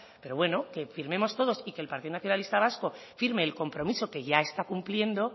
pero bueno que firmemos todos y que el partido nacionalista vasco firme el compromiso que ya está cumpliendo